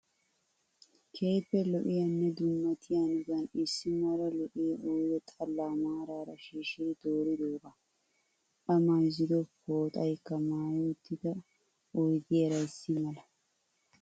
Keehippe lo"iyaanne dummatiyaa hanotan issi mala lo'iyaa oyide xallaa maaraara shiishidi dooridoogaa. A mayizzido pooxayikka maayi uttida oyidiyaara issi mala.